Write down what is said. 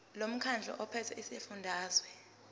lomkhandlu ophethe esifundazweni